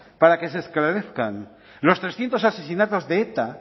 para que se esclarezcan los trescientos asesinatos de eta